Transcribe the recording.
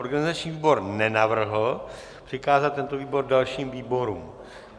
Organizační výbor nenavrhl přikázat tento návrh dalším výborům.